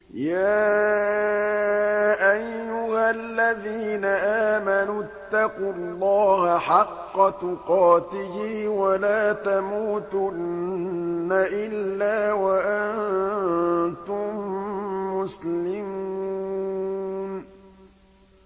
يَا أَيُّهَا الَّذِينَ آمَنُوا اتَّقُوا اللَّهَ حَقَّ تُقَاتِهِ وَلَا تَمُوتُنَّ إِلَّا وَأَنتُم مُّسْلِمُونَ